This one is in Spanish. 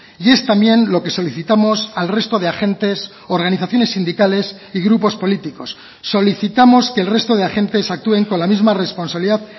y es también lo que solicitamos al resto de agentes organizaciones sindicales y grupos políticos solicitamos que el resto de agentes actúen con la misma responsabilidad